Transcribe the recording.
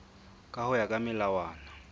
ka ho ya ka melawana